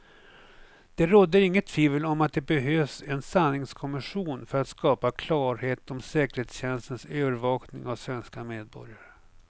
Det råder inget tvivel om att det behövs en sanningskommission för att skapa klarhet om säkerhetstjänsternas övervakning av svenska medborgare.